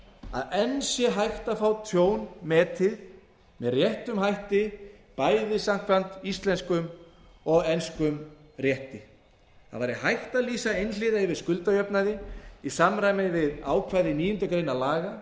að enn sé hægt að fá tjón metið með réttum hætti bæði samkvæmt íslenskum og enskum rétti það væri hægt að lýsa einhliða yfir skuldajöfnuði í samræmi við ákvæði níundu grein laga númer